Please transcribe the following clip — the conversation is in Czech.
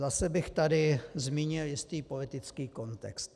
Zase bych tady zmínil jistý politický kontext.